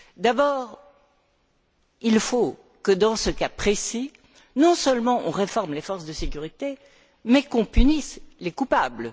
D'abord, il faut que, dans ce cas précis, non seulement, on réforme les forces de sécurité mais que l'on punisse les coupables.